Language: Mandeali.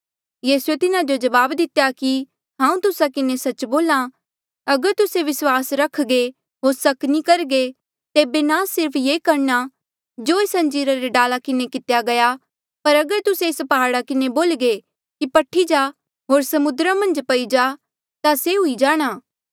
यीसूए तिन्हा जो जवाब दितेया कि हांऊँ तुस्सा किन्हें सच्च बोल्हा अगर तुस्से विस्वास रख्घे होर सक नी करघे तेबे ना सिर्फ ये करणा जो एस अंजीरा रे डाला किन्हें कितेया गया पर अगर तुस्से एस प्हाड़ा किन्हें बोल्ह्गे कि पठ्ही जा होर समुद्रा मन्झ पई जा ता से हुई जाणा